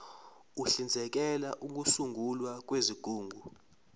uhlinzekela ukusungulwa kwezigungu